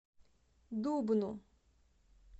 дубну